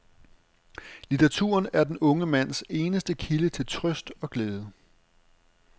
Litteraturen er den unge mands eneste kilde til trøst og glæde.